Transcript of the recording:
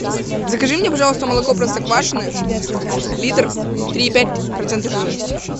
закажи мне пожалуйста молоко простоквашино литр три и пять процента жирности